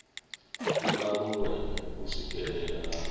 i aluwe u swikelelea ha